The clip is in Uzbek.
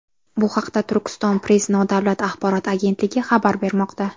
Bu haqda Turkiston-press nodavlat axborot agentligi xabar bermoqda .